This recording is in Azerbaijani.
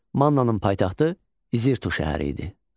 Mannanın paytaxtı İzirto şəhəri idi.